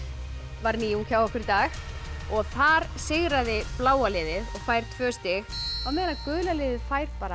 var nýjung hjá okkur í dag og þar sigraði bláa liðið og fær tvö stig á meðan gula liðið fær bara